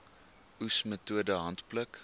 oes metode handpluk